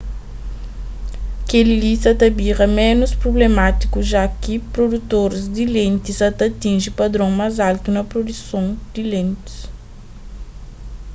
kel-li sa ta bira ménus prublemátiku ja ki produtoris di lenti sa ta atinji padron más altu na produson di lentis